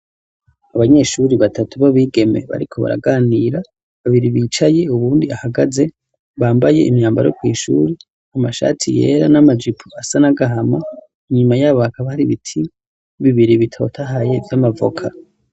Abanyeshure batatu b'abigeme bariko baraganira. Babiri bicaye, uwundi ahagaze, bambaye imyambaro yo kw'ishure, amashati yera n'amajipo asa n'agahama. Inyama yabo hakaba hari ibiti bibiri bitotahaye vy'amavoka.